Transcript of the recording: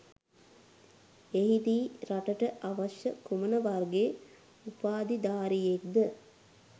එහිදී රටට අවශ්‍ය කුමන වර්ගයේ උපාධිධාරියෙක්ද